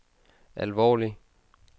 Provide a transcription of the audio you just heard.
alvorlig